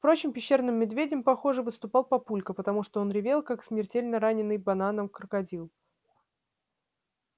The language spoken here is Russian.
впрочем пещерным медведем похоже выступал папулька потому что он ревел как смертельно раненый бананом крокодил